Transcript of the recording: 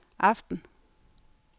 aften